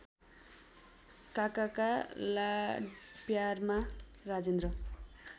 काकाका लाडप्यारमा राजेन्द्र